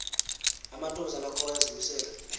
amantombazana akhoyo amzisela